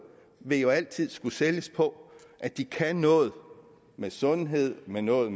vil jo altid skulle sælges på at de kan noget med sundhed noget